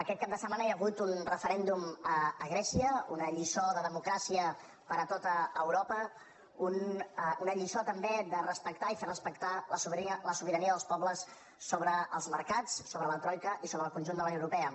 aquest cap de setmana hi ha hagut un referèndum a grècia una lliçó de democràcia per a tot europa una lliçó també de respectar i fer respectar la sobirania dels pobles sobre els mercats sobre la troica i sobre el conjunt de la unió europea